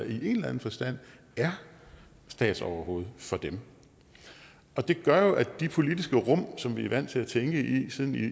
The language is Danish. i en eller anden forstand er statsoverhoved for dem og det gør jo at de politiske rum som vi er vant til at tænke i